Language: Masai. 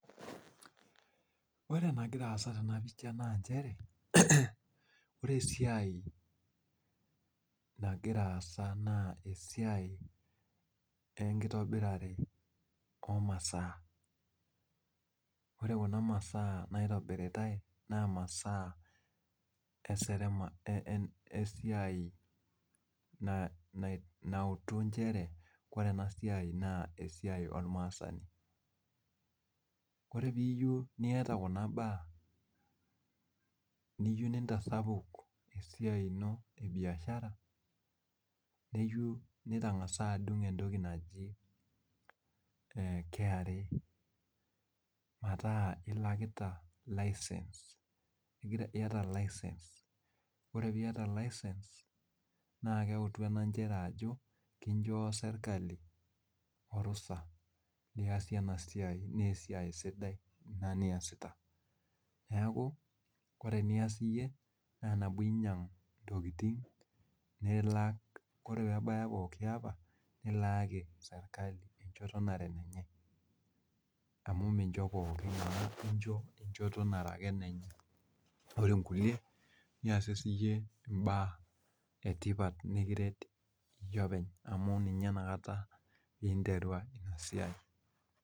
Ore enagira aasa tena pisha naa nchere ore esiai nagira aasa naa esiai enitobirare oo masaa. Ore kuna masaa naitobiritai naa masaa esiai nautu nchere kore ena siai naa esiai olmaasani. Kore piiyieu niata kuna baak niyieu nintasapuk esiai e biashara neyieu nitang'asa adung' entoki naji KRA metaa ilakita license, iyata license. Ore piata license naa keutu ena nchere ajo kinchoo serikali orusa liasie ena siai naa esiai sidai ina niasita. Neeku kore enias iyie naa eneeku inyang' intokiting nilak, kore peebaye pooki apa nilaaki serikali enchoto nara enenye amu mincho pookin amu incho enchoto nara ake enenye ore nkulie niasie siiyie imbaak etipat nekiret iyie openy amu ninye inakata piinterwa ina siai